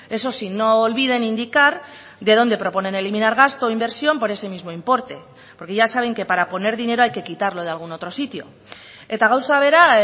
eso sí no olviden indicar de donde proponen eliminar gasto o inversión por ese mismo importe porque ya saben que para poner dinero hay que quitarlo de algún otro sitio eta gauza bera